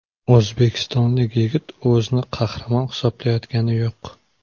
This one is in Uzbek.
O‘zbekistonlik yigit o‘zini qahramon hisoblayotgani yo‘q.